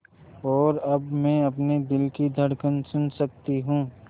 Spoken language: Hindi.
और अब मैं अपने दिल की धड़कन सुन सकती हूँ